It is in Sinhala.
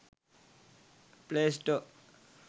play store